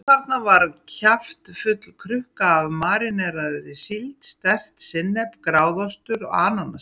Jú, þarna var kjaftfull krukka af maríneraðri síld, sterkt sinnep, gráðaostur, ananassafi.